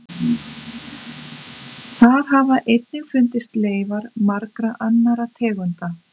Þar hafa einnig fundist leifar margra annarra tegunda.